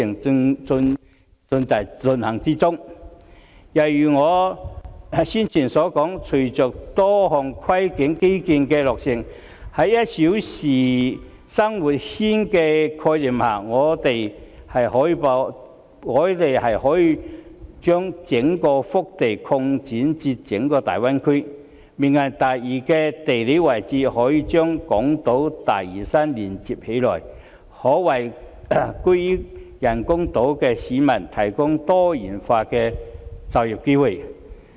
正如我先前所說，隨着多項跨境基建的落成，在"一小時生活圈"的概念下，我們可以把整個腹地擴展至整個大灣區，"明日大嶼"的地理位置可以把港島和大嶼山連接起來，可為居於人工島的市民提供多元化的就業機會。